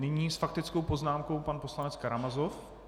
Nyní s faktickou poznámkou pan poslanec Karamazov.